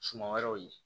Suma wɛrɛw ye